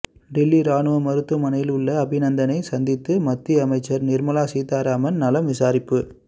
டெல்லி ராணுவ மருத்துவமனையில் உள்ள அபிநந்தனை சந்தித்து மத்தியமைச்சர் நிர்மலா சீதாராமன் நலம் விசாரிப்பு